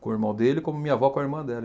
com o irmão dele, como minha avó com a irmã dela.